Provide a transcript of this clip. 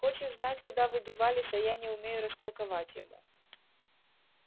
хочет знать куда вы девались а я не умею растолковать ему